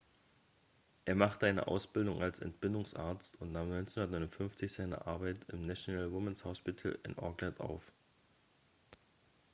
er machte eine ausbildung als entbindungsarzt und nahm 1959 seine arbeit im national women's hospital in auckland auf